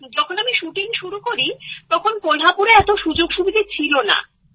যখন আমি শুটিং শুরু করি তখন কোলহাপুরে এত সুযোগ সুবিধে ছিলনা